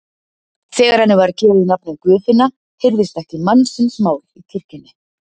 Þegar henni var gefið nafnið Guðfinna heyrðist ekki mannsins mál í kirkjunni.